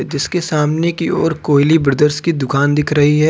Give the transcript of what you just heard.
जिसके सामने की ओर कोहिली ब्रदरस की दुकान दिख रही है।